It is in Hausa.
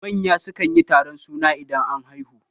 Manya sukan yi taron suna idan an haihu